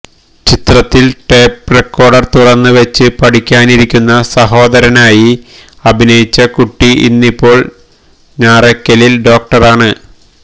ചിത്രത്തില് tape recorder തുറന്നുവെച്ച് പഠിക്കാനിരിക്കുന്ന സഹോദരനായി അഭിനയിച്ച കുട്ടി ഇന്നിപ്പോള് ഞാറയ്ക്കലില് ഡോക്ടറാണ്